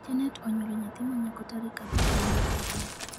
Janet onyuolo nyathi manyako tarik abich dwe mar ariyo